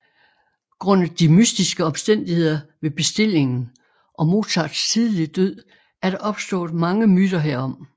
Grundet de mystiske omstændigheder ved bestillingen og Mozarts tidlige død er der opstået mange myter herom